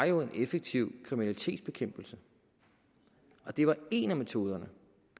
jo en effektiv kriminalitetsbekæmpelse og det var en af metoderne